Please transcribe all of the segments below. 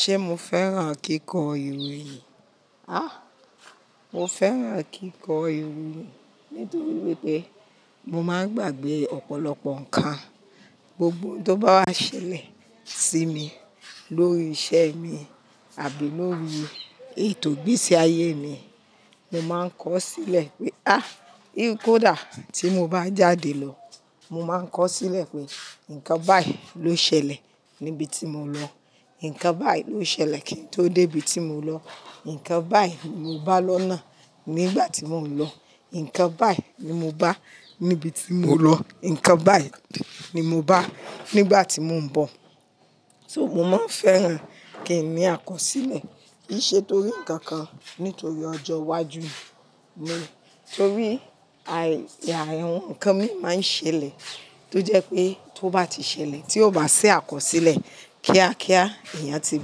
Ṣé mo fẹ́ràn kíkọ iwe? Á, mo fẹ́ràn kíkọ iwe nítorí wípé mo máa ń gbàgbé ọ̀pọ̀lọpọ̀ ǹkan, gbogbo tó bá wá ṣẹlẹ̀ sí mi lórí iṣẹ́ mi àbí lórí ètò igbeṣẹ́ ayé mi, mo máa ń kọ sílẹ̀ pé, á, kó dà tí mo bá jáde lọ, mo máa ń kọ sílẹ̀ pé nǹkan báyìí ló ṣẹlẹ̀ níbi tí mo lọ, nǹkan báyìí ló ṣẹlẹ̀ kí n tó dé ibi tí mo lọ, nǹkan báyìí mo bá lọ́nà nígbà tí mò ń lọ, nǹkan báyìí ni mo bá níbi tí mo lọ, nǹkan báyìí ni mo bá nígbà tí mò ń bọ̀. So mo máa ń fẹ́ràn kí n ní àkọsílẹ̀ kiṣe torí ǹkan kan nítorí ọjọ́ iwájú mi, torí àyàrá àwọn ǹkan mi máa ń ṣẹlẹ̀ tó jẹ́ pé tó bá ti ṣẹlẹ̀ tí ó bá ṣé àkọsílẹ̀ kíákíá, èèyàn ti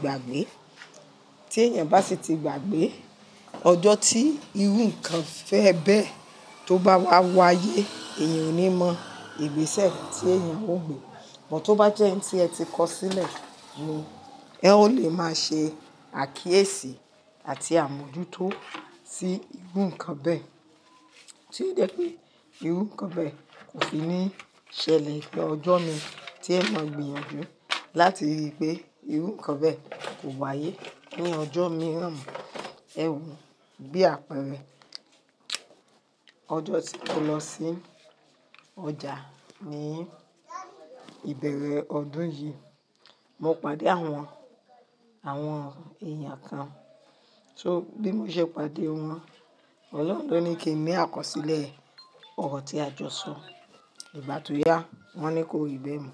gbàgbé. Tí èèyàn bá sì ti gbàgbé, ọjọ́ tí irú ǹkan fẹ́ bẹ́ẹ́ tó bá wá wáyé, èèyàn ò ní mọ ìgbésẹ̀ tí èèyàn ó gbé. Bút tó bá jẹ́ ẹni tí ẹ ti kọ sílẹ̀ ni ẹ o lè máa ṣe àkíyèsí àti àmójútó sí irú ǹkan bẹ́ẹ̀ tí ó jẹ́ pé irú ǹkan bẹ́ẹ̀ kò sì ní ṣẹlẹ̀ lọ́jọ́ mi tí ẹ mọ gbìyànjú láti rí i pé irú ǹkan bẹ́ẹ̀ kò wáyé ní ọjọ́ mìíràn. Ẹ woo bí àpẹẹrẹ, ọjọ́ tí mo lọ sí ọjà ní ìbẹ̀rẹ̀ ọdún yìí, mo pàdé àwọn, àwọn èèyàn kan, so bí mo ṣe pàdé wọn, Ọlọ́run ló ní kí n ní àkọsílẹ̀ ọ̀rọ̀ tí a jọ sọ. Ìgbà tó yá wọ́n ní ko rìbẹ́ mi.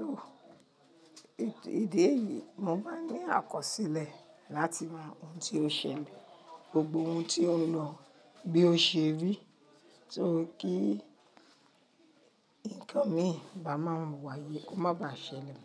So èdè yìí mo máa ń ní àkọsílẹ̀ láti mọ ohun tí ó ṣẹlẹ̀, gbogbo ohun tí ó ń lọ bí ó ṣe rí tó kí ǹkan mi bá máa wáyé kó má ba ṣẹlẹ̀.